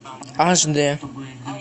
аш д